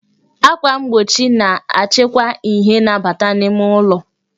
Akwà mgbochi na-achịkwa ìhè na-abata n'ime ụlọ